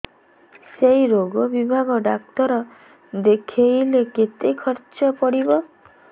ସେଇ ରୋଗ ବିଭାଗ ଡ଼ାକ୍ତର ଦେଖେଇଲେ କେତେ ଖର୍ଚ୍ଚ ପଡିବ